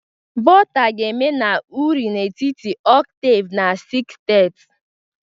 Volta ga-eme na uri n'etiti octave na sestet